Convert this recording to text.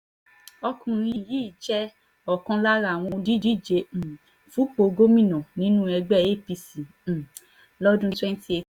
ọkùnrin yìí jẹ́ ọ̀kan lára àwọn olùdíje um fúnpọ̀ gómìnà nínú ẹgbẹ́ apc um lọ́dún twenty eighteen